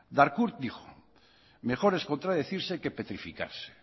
darcourt dijo mejor es contradecirse que petrificarse